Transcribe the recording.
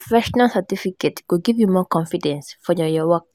Na professional certification go give you more confidence for your your work.